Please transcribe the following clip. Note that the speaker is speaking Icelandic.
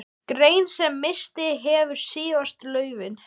Grein sem misst hefur síðasta laufið.